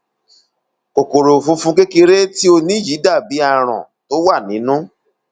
kòkòrò funfun kékeré tí o ní yìí dàbí aràn tó wà nínú